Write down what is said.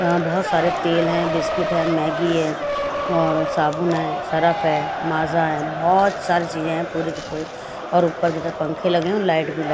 यहां बहुत सारे तेल है बिस्किट है मैगी है और साबुन है सर्फ है माज़ा है और बहुत सारी चीज हैं पुरी की पूरी और ऊपर पंखे लगे हैं और लाइट भी लगी --